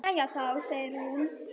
Jæja þá, segir hún.